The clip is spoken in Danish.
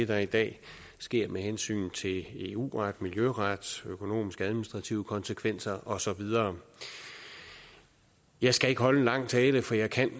der i dag sker med hensyn til eu ret miljøret økonomisk administrative konsekvenser og så videre jeg skal ikke holde en lang tale for jeg kan